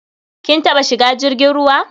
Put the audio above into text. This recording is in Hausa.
Kin taɓa shiga jirgin ruwa?